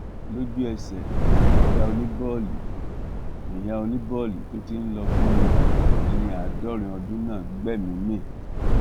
lójú ẹsẹ níyà oníbòòlì níyà oníbòòlì tó ti ń lọ bíi ẹni àádọrin ọdún náà gbẹmíín mi